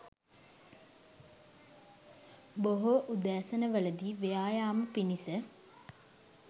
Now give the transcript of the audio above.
බොහෝ උදෑසන වලදී ව්‍යායාම පිණිස